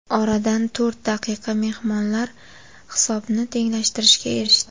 Oradan to‘rt daqiqa mehmonlar hisobni tenglashtirishga erishdi.